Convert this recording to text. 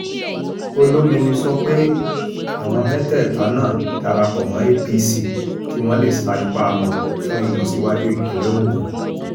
olomini sọ pé àwọn mẹ́tẹ̀ẹ̀ta náà darapọ̀ mọ́ apc kí wọ́n lè sa ipá wọn fún ìlọsíwájú ìpínlẹ̀ ogun